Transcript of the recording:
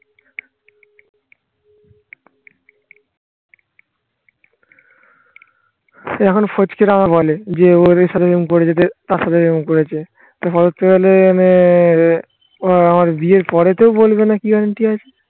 এখন আবার বলে যে ওদের সাথে এরকম করে যেতে তার সাথে এরকম করেছে আমার বিয়ের পরেতেও বলবে না কি guarantee আছে